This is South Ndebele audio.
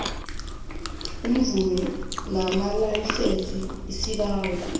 iimvumo namalayisense isibawo